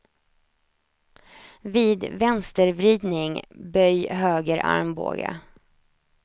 Vid vänstervridning, böj höger armbåge.